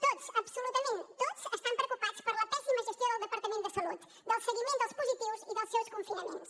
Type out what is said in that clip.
tots absolutament tots estan preocupats per la pèssima gestió del departament de salut del seguiment dels positius i dels seus confinaments